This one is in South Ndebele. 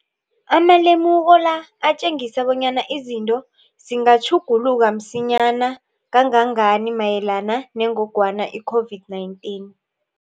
Amalemuko la atjengisa bonyana izinto zingatjhuguluka msinyana kangangani mayelana nengogwana i-COVID-19.